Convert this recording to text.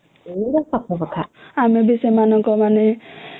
ଆମେ ବି ସେମନେ